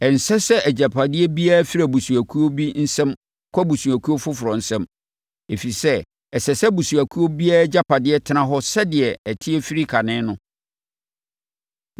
Ɛnsɛ sɛ agyapadeɛ biara firi abusuakuo bi nsam kɔ abusuakuo foforɔ nsam, ɛfiri sɛ, ɛsɛ sɛ abusuakuo biara agyapadeɛ tena hɔ sɛdeɛ ɛteɛ firi kane no.